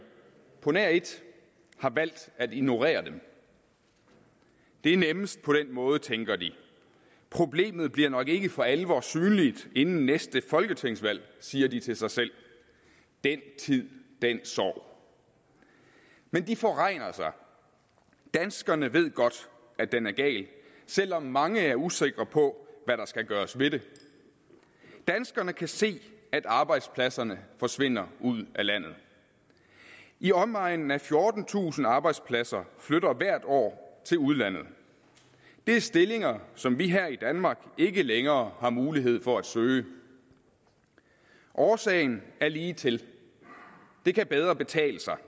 på nær et har valgt at ignorere dem det er nemmest på den måde tænker de problemet bliver nok ikke for alvor synligt inden næste folketingsvalg siger de til sig selv den tid den sorg men de forregner sig danskerne ved godt at den er gal selv om mange er usikre på hvad der skal gøres ved det danskerne kan se at arbejdspladserne forsvinder ud af landet i omegnen af fjortentusind arbejdspladser flytter hvert år til udlandet det er stillinger som vi her i danmark ikke længere har mulighed for at søge årsagen er ligetil det kan bedre betale sig